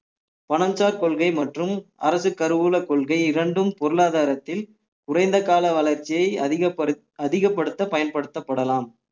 பனஞ்சார் கொள்கை மற்றும் அரசு கருவூல கொள்கை இரண்டும் பொருளாதாரத்தில் குறைந்த கால வளர்ச்சியை அதிகப்படுத்~ அதிகப்படுத்த பயன்படுத்தப்படலாம்